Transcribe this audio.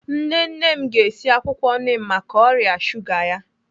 Nne nne m ga-esi akwụkwọ nim maka ọrịa shuga ya.